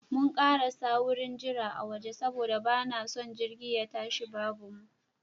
Mun karasa wurin jira a waje saboda ba na son jirgi ye tashi babu mu.